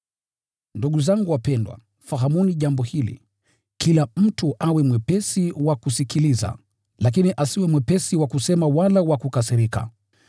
Ndugu zangu wapendwa, fahamuni jambo hili: Kila mtu awe mwepesi wa kusikiliza, lakini asiwe mwepesi wa kusema wala wa kukasirika.